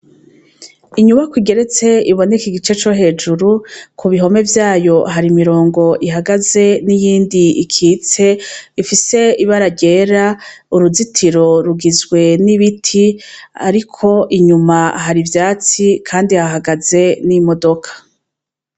Inyubakwa igeretse, iboneka igice co hejuru, kubihome vyayo hari imirongo ihagaze niyindi ikitse, ifise ibara ryera, uruzitiro rugizwe n'ibiti ariko inyuma hari ivyatsi kandi hahagaze n'imodoka.